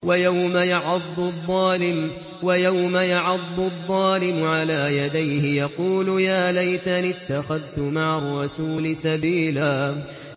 وَيَوْمَ يَعَضُّ الظَّالِمُ عَلَىٰ يَدَيْهِ يَقُولُ يَا لَيْتَنِي اتَّخَذْتُ مَعَ الرَّسُولِ سَبِيلًا